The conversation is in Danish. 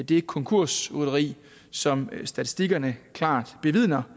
det konkursrytteri som statistikkerne klart bevidner